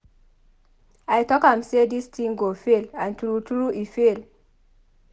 I talk am say dis thing go fail and true true e fail.